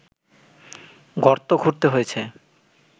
গর্ত খুঁড়তে হয়েছে